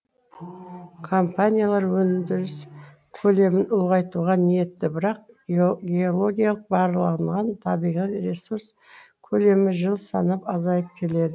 компаниялар өндіріс көлемін ұлғайтуға ниетті бірақ геологиялық барланған табиғи ресурс көлемі жыл санап азайып келеді